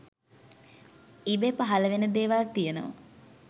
ඉබේ පහළ වෙන දේවල් තියෙනවා